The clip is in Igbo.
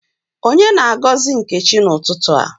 Onye na-agozi Nkechi n’ututu a?